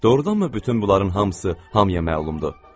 Doğrudanmı bütün bunların hamısı hamıya məlumdur?